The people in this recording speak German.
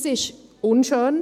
Das ist unschön.